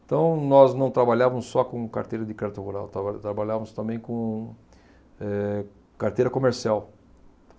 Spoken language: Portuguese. Então, nós não trabalhávamos só com carteira de crédito rural, trabalha trabalhávamos também com, eh, carteira comercial.